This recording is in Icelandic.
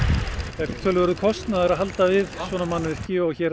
það er töluverður kostnaður að halda við svona mannvirki og hér er